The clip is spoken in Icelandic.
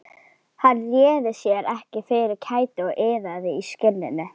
Hann réði sér ekki fyrir kæti og iðaði í skinninu.